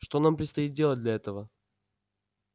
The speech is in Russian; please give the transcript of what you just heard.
что нам предстоит делать для этого